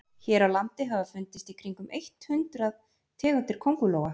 hér á landi hafa fundist í kringum eitt hundruð tegundir köngulóa